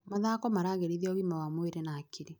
Mathako maragĩrithia ũgima wa mwĩrĩ na hakiri.